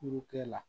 Furu kɛ la